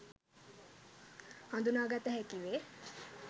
හදුනාගත හැකි වේ.